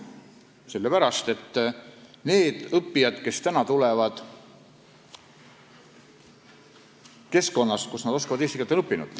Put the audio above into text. Sellepärast, et need õppijad, kes täna tulevad keskkonnast, kus nad on õppinud eesti keelt, oskavad seda.